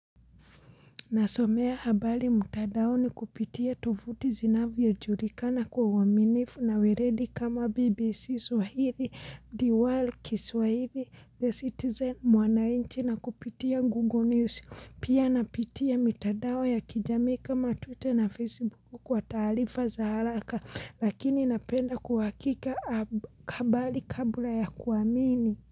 Nasomea habari mtandaoni kupitia tovuti zinavyojulikana kwa uaminifu na weledi kama BBC Swahili, Diwal, kiswahili, The Citizen, Mwanainchi na kupitia Google News. Pia napitia mitadao ya kijamii kama Twitter na Facebook kwa taarifa za haraka lakini napenda kuwakika habari kabla ya kuamini.